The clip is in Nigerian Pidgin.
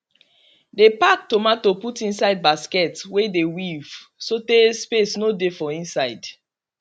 dey pack tomato put inside basket wey dey weave so tay space no dey for inside